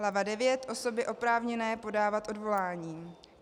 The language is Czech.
Hlava IX. Osoby oprávněné podávat odvolání.